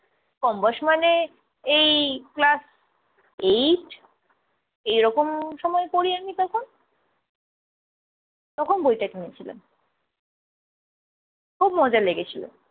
কম বয়স মানে এই class eight এরকম সময় পড়ি। আমি তখন তখন বইটা কিনেছিলাম খুব মজা লেগেছিল।